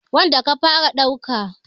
wanda ka fara ɗauka.